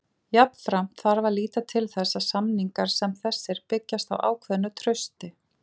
Jafnframt þarf að líta til þess að samningar sem þessir byggjast á ákveðnu trausti.